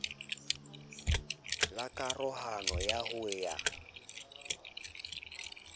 la karohano ya ho ya